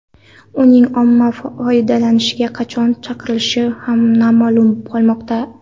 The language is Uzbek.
Uning omma foydalanishiga qachon chiqarilishi ham noma’lum qolmoqda.